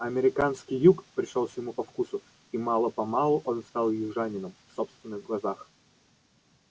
американский юг пришёлся ему по вкусу и мало-помалу он стал южанином в собственных глазах